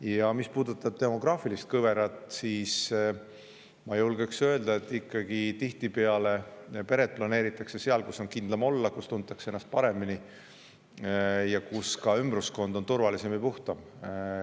Ja mis puudutab demograafilist kõverat, siis ma julgeks öelda, et tihtipeale planeeritakse peret ikkagi seal, kus on kindlam olla ja kus tuntakse ennast paremini ning kus ka ümbruskond on turvalisem ja puhtam.